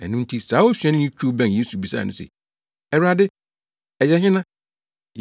Ɛno nti saa osuani no twiw bɛn Yesu bisaa no se, “Awurade, ɛyɛ hena?”